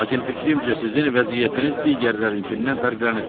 Lakin fikrimcə sizin vəziyyətiniz digərlərinkindən fərqlənir.